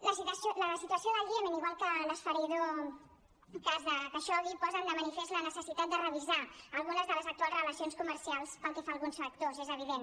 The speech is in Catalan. la situació del iemen igual que l’esfereïdor cas de khaixoggi posen de manifest la necessitat de revisar algunes de les actuals relacions comercials pel que fa a alguns factors és evident